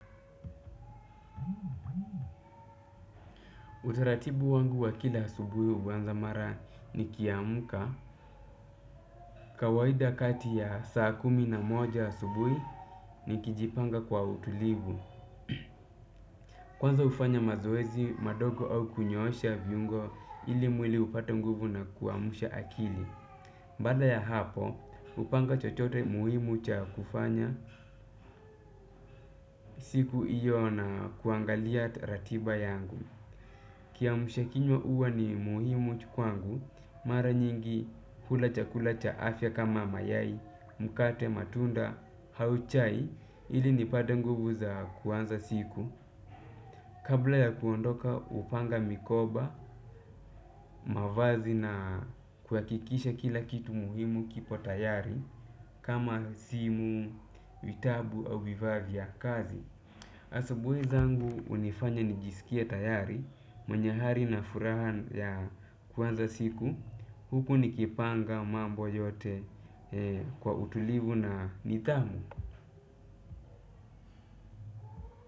Utaratibu wangu wa kila asubuhi uwanza mara ni kiamka, kawaida kati ya saa kumi na moja asubuhi ni kijipanga kwa utulivu. Kwanza hufanya mazoezi, madogo au kunyoosha viungo ili mwili upate nguvu na kuamsha akili. Bada ya hapo, upanga chochote muhimu cha kufanya siku iyo na kuangalia ratiba yangu. Kiamsha kinywa uwa ni muhimu kwangu, mara nyingi hula chakula cha afya kama mayai, mkate matunda, au chai ili nipate nguvu za kuanza siku. Kabla ya kuondoka upanga mikoba, mavazi na kuhakikisha kila kitu muhimu kipo tayari kama simu, vitabu au vifaa vya kazi. Asabuhi zangu unifanya nijisikie tayari mwenye hari na furaha ya kuanza siku huku nikipanga mambo yote kwa utulivu na nidhamu.